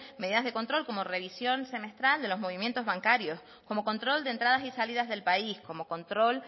medidas de control como revisión semestral de los movimientos bancarios como control de entradas y salidas del país como control